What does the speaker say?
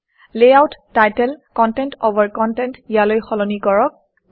layout title content অভাৰ content ইয়ালৈ সলনি কৰক